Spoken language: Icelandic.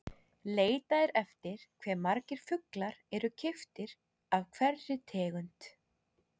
Leitað er eftir hve margir fuglar eru keyptir af hverri tegund.